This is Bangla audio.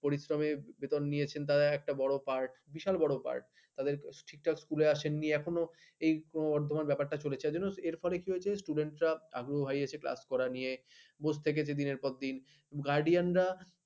পরিশ্রমের বেতন নিয়েছে তারা একটা বড় part বিশাল বড় পাঠ তাদের ঠিকঠাক স্কুল আসে নি এখনও আধামান ব্যাপারটা চলেছে তার জন্য এর ফলে কি হয়েছে student আরো হাই হয়েছে class করা নিয়ে বসে থেকেছে দিনের পর দিন guardian রা